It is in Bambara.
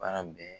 Baara bɛɛ